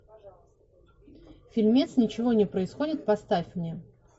фильмец ничего не происходит поставь мне